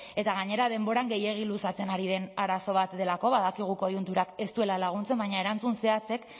eta gainera denboran gehiegi luzatzen ari den arazo bat delako badakigu koiunturak ez duela laguntzen baina erantzun zehatzek